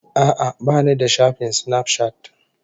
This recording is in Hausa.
A'a, ba ni da shafin Snapchat